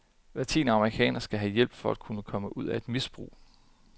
Hver tiende amerikaner skal have hjælp for at komme ud af et misbrug.